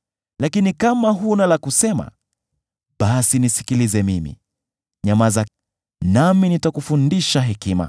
Lakini kama huna la kusema, basi nisikilize mimi; nyamaza, nami nitakufundisha hekima.”